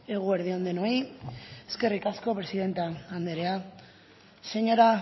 eguerdi on denoi eskerrik asko presidente andrea señora